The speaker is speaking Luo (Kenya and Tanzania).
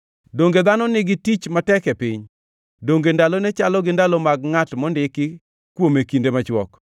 “Donge dhano nigi tich matek e piny? Donge ndalone chalo gi ndalo mag ngʼat mondiki kuom kinde machwok?